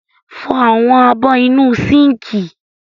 Fọ àwọn abọ́ inú sínkì.